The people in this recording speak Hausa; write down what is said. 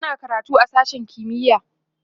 tana karatu a sashen kimiya